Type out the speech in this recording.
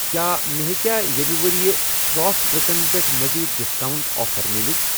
کیٛاہ مےٚ ہیٚکیٛاہ یمہِ ورۍ یہِ سافٹ ڈِرٛنٛکن پٮ۪ٹھ مزید ڈسکاونٛٹ آفر مِلِتھ؟